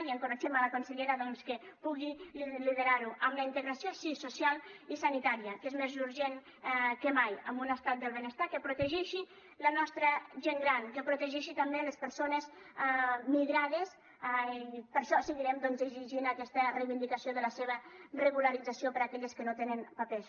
i encoratgem la consellera doncs que pugui liderar ho amb la integració sí social i sanitària que és més urgent que mai amb un estat del benestar que protegeixi la nostra gent gran que protegeixi també les persones migrades per això seguirem doncs exigint aquesta reivindicació de la seva regularització per a aquelles que no tenen papers